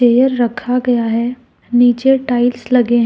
ये रखा गया है नीचे टाइल्स लगे हैं।